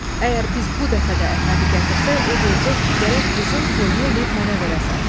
Əgər biz bu dəfə də Əhmədi gətirsək, o deyəcək ki, gərək qızın toyunu eləyib mənə verəsən.